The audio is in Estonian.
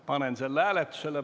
Panen selle hääletusele.